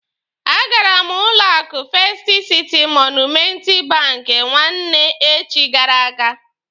A gara m n'ụlọ akụ Festi Siti Monumenti banki nwanne echi gara aga.